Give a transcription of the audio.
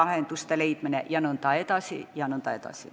Neile tuleb lahendused leida.